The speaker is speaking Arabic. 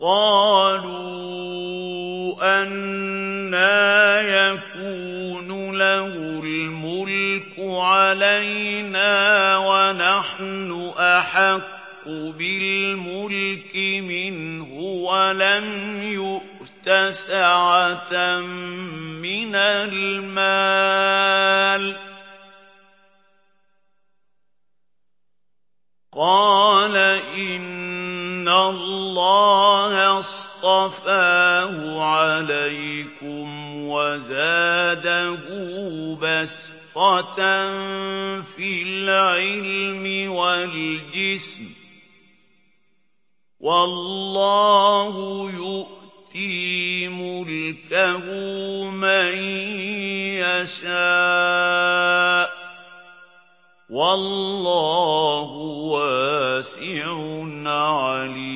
قَالُوا أَنَّىٰ يَكُونُ لَهُ الْمُلْكُ عَلَيْنَا وَنَحْنُ أَحَقُّ بِالْمُلْكِ مِنْهُ وَلَمْ يُؤْتَ سَعَةً مِّنَ الْمَالِ ۚ قَالَ إِنَّ اللَّهَ اصْطَفَاهُ عَلَيْكُمْ وَزَادَهُ بَسْطَةً فِي الْعِلْمِ وَالْجِسْمِ ۖ وَاللَّهُ يُؤْتِي مُلْكَهُ مَن يَشَاءُ ۚ وَاللَّهُ وَاسِعٌ عَلِيمٌ